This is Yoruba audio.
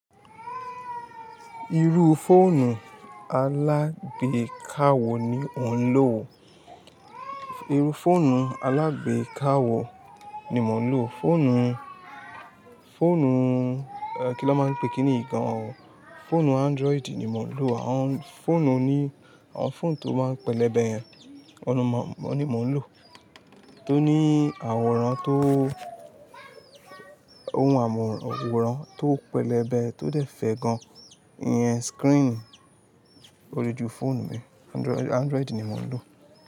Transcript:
Irú fóònù alágbékà wó ni mò ń lò, fóònù, fóònù, ẹ́ kí ni won máa ń pè kíni yii gan? Fóònù Android ni mò ń lò, àwọn fóònù oní, àwọn fóònù tó máa ń pẹlẹbẹ yẹn, oun ni mò ń lò, tó ní àwòrán tó, ohun àwòrán tó pẹlẹbẹ, tó dẹ̀ fẹ̀ gan, ìyẹn screen oju fóònù mi, Android ni mò ń lò.